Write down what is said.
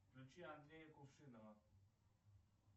включи андрея кувшинова